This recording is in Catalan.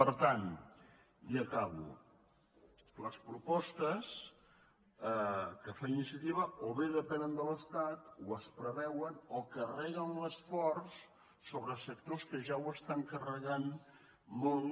per tant i acabo les propostes que fa iniciativa o bé depenen de l’estat o es preveuen o carreguen l’esforç sobre sectors que ja ho estan carregant molt